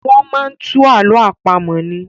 Wọ́n máa ń tú àlọ àpamọ̀ ni.